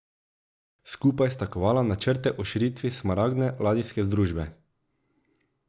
Skupaj sta kovala načrte o širitvi Smaragdne ladijske združbe.